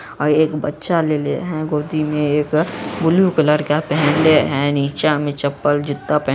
और एक बच्चा लेले है गोदी में एक ब्लू कलर का पेहेनले है| नीचा में चप्पल जूता पेहेन--